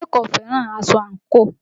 Adé kò fẹ́ràn aṣọ ankoo